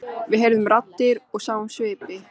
Við heyrðum raddir og sáum svipi.